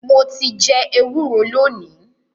Mo ti jẹ ẹwúro lónìí.